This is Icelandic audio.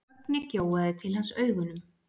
Högni gjóaði til hans augunum.